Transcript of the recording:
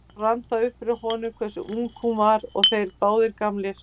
Þá rann það upp fyrir honum hversu ung hún var og þeir báðir gamlir.